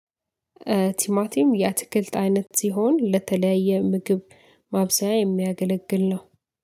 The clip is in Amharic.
ቲማቲም የአትክልት አይነት ሲሆን ለተለያየ ምግብ ማብዛያ የሚያገለግል ነው።